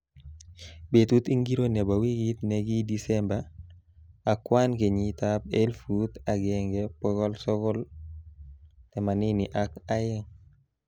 Betut ingiro nebo wikit ne ki Disemba akwan kenyitab elfut angeng bokol sokol themanin ak aeng